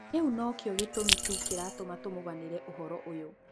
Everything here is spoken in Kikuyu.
‘’kĩu nokĩo gĩtũmi tu kĩratũma tũmũganĩre ũhoro ũyũ’’